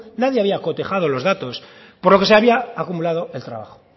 nadie había cotejado los datos por lo que se había acumulado el trabajo